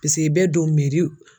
i bɛ don